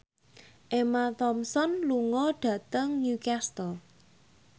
Emma Thompson lunga dhateng Newcastle